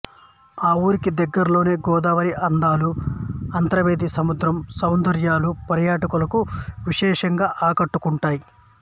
ఈ ఊరికి దగ్గరలోనే గోదావరి అందాలు అంతర్వేది సముద్రం సౌందర్యాలు పర్యాటకులను విశేషంగా ఆకట్టుకుంటాయి